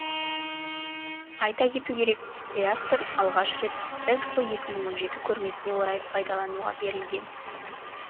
айта кету керек реактор алғаш рет ехро көрмесіне орай пайдалануға берілген